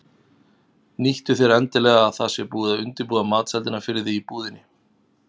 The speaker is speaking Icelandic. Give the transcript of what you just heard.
Nýttu þér endilega að það sé búið að undirbúa matseldina fyrir þig í búðinni.